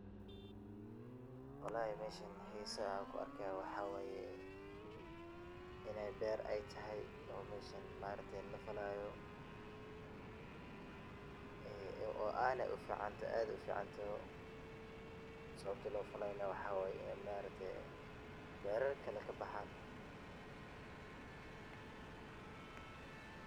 Meshaan xisaha an kuarkayo waxa waye, iney beer ey tahay oo meshaan lafalayo oo aad uficantahay sawabto lofalayo ey ini berar kale kabaxan.